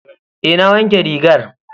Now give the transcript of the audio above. Eh na wanke rigar.